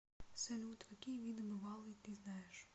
салют какие виды бывалый ты знаешь